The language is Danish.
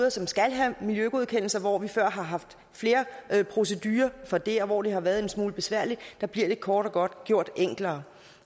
og som skal have en miljøgodkendelse hvor vi før har haft flere procedurer for det og hvor det har været en smule besværligt bliver det kort og godt gjort enklere